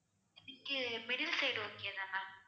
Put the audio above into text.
எனிக்கு middle side okay தான் ma'am